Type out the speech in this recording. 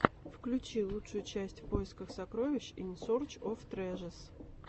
включи лучшую часть в поисках сокровищ ин сорч оф трэжэс